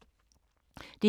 DR K